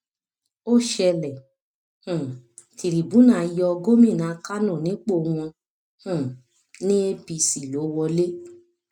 ó ṣẹlẹ um tìrìbùnà yọ gómìnà kánò nípò wọn um ní apc ló wọlé